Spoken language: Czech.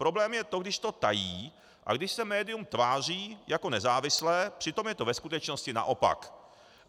Problém je to, když to tají a když se médium tváří jako nezávislé, přitom je to ve skutečnosti naopak.